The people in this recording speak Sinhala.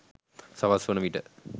සවස් වන විට